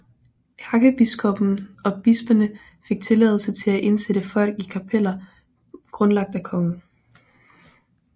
Ærkebiskoppen og bisperne fik tilladelse til at indsætte folk i kapeller grundlagt af kongen